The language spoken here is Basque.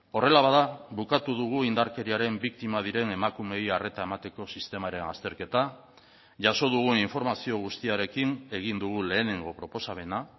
horrela bada bukatu dugu indarkeriaren biktima diren emakumeei arreta emateko sistemaren azterketa jaso dugun informazio guztiarekin egin dugu lehenengo proposamena